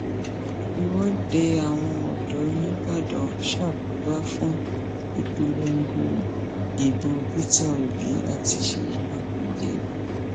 ìwọde àwọn ọdọ nìbàdàn ṣàkóbá fún ìpolongo ìbò peter obi àti ṣèyí mákindé